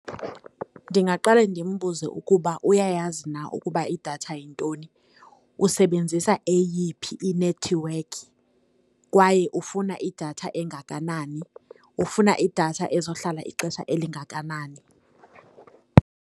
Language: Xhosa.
Ndingaqale ndimbuze ukuba uyayazi na ukuba idatha yintoni, usebenzisa eyiphi inethiwekhi, kwaye ufuna idatha engakanani, ufuna idatha ezohlala ixesha elingakanani?